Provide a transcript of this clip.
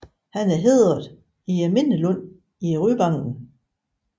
Han er hædret i Mindelunden i Ryvangen